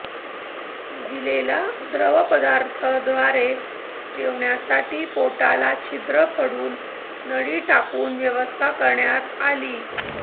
महिलेला द्रवपदार्थद्वारे जेवणासाठी पोटाला छिद्र पडून नळी टाकून व्यवस्था करण्यात आली